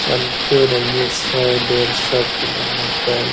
चलते रहिए सौ डेढ़ सौ किलोमीटर ।